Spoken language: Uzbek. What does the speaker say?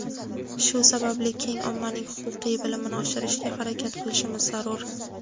Shu sababli keng ommaning huquqiy bilmini oshirishga harakat qilishimiz zarur.